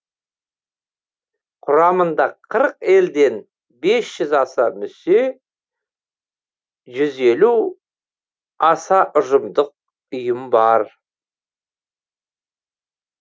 құрамында қырық елден бес жүз аса мүше жүз елу аса ұжымдық ұйым бар